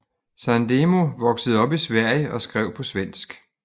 Sandemo voksede op i Sverige og skrev på svensk